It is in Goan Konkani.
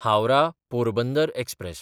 हावराह–पोरबंदर एक्सप्रॅस